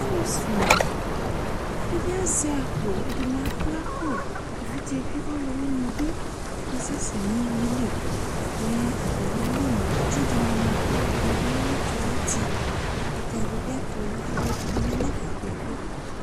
Alu sune Ɛdini azɛ akpo , Ɛdini akpla akpoƐvidze bi ɔluwini bi akasɛsɛ nʋ uwuieliMɛ atamialonu itsi dini ma Kalu ɛdini bi ya nʋ itsue ayiʋ utiƐkutɛ dibi ayɛtu , alu ɛdini yanɛfɛ kpekpe